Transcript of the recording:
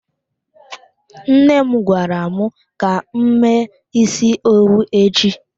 Nne m gwara m ka m mee isi owu echi.